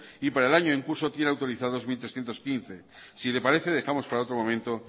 y para el año en curso tiene autorizados mil trescientos quince si le parece dejamos para otro momento